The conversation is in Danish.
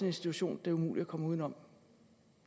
institution det er umuligt at komme udenom